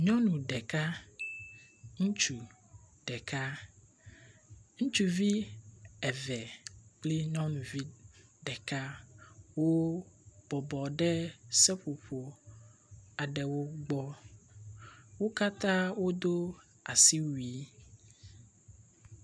Nyɔnu ɖeka, ŋutsu ɖeka, ŋutsuvi eve kple nyɔnuvi ɖeka wobɔbɔ ɖe seƒoƒo aɖewo gbɔ. Wo katã wodo asiwui.